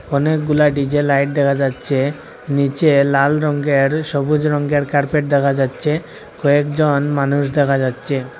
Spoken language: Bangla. অনেকগুলা ডি_জে লাইট দেখা যাচ্ছে নিচে লাল রঙ্গের সবুজ রঙ্গের কার্পেট দেখা যাচ্ছে কয়েকজন মানুষ দেখা যাচ্ছে।